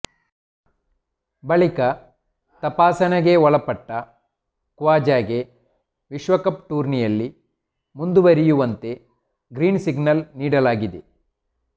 ಬಳಿಕ ತಪಾಸಣೆಗೆ ಒಳಪಟ್ಟ ಖವಾಜಗೆ ವಿಶ್ವಕಪ್ ಟೂರ್ನಿಯಲ್ಲಿ ಮುಂದುವರಿಯುವಂತೆ ಗ್ರೀನ್ ಸಿಗ್ನಲ್ ನೀಡಲಾಗಿದೆ